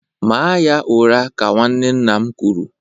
Maa ya ụra ka nwanne nna m kwụrụ